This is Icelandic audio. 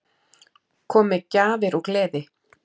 Kom með gjafir og gleði.